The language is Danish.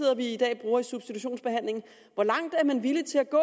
i dag bruger i substitutionsbehandlingen hvor langt er man villig til at gå